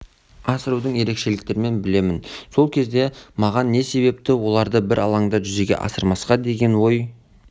асырудың ерекшеліктерін білемін сол кезде маған не себепті оларды бір алаңда жүзеге асырмасқа деген ой